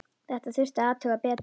Þetta þurfti að athuga betur.